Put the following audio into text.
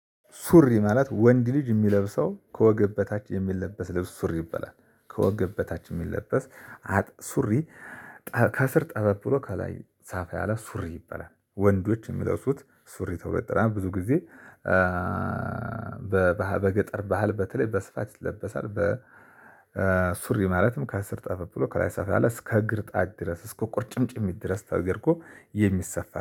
ሱሪ ማለት ወንድ ልጅ የሚለብሰው ከወገብ በታች የሚለበስ ልብስ ሱሪ ይበላል ከወገብ በታች የሚለበስ ሱሪ። ከስር ጠበብ ብሎ ከላይ ሰፋ ያለ ሱሪ ይበላል ወንዶች የሚለሱት ሱሪ ተብሎ ይጠራል። ብዙ ጊዜ በገጠር ባህል በተለይ በስፋት ይለበሳል። በ በሱሪ ማለትም ከስር ጠፋ ብሎ ከላይ ሰፋ ያለ እስከ እግር ጣት ድረስ እስከ ቁርጭምጭሚት ድረስ ተደርጎ የሚሰፋ